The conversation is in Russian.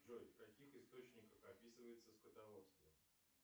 джой в каких источниках описывается скотоводство